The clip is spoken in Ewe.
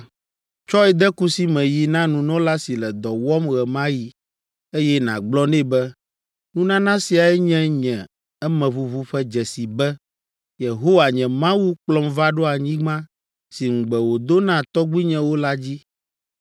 Tsɔe de kusi me yi na nunɔla si le dɔ wɔm ɣe ma ɣi, eye nàgblɔ nɛ be, ‘Nunana siae nye nye emeʋuʋu ƒe dzesi be, Yehowa, nye Mawu kplɔm va ɖo anyigba si ŋugbe wòdo na tɔgbuinyewo la dzi.’